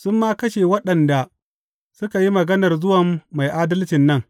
Sun ma kashe waɗanda suka yi maganar zuwan Mai Adalcin nan.